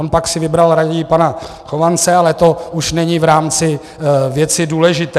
On si pak vybral raději pana Chovance, ale to už není v rámci věci důležité.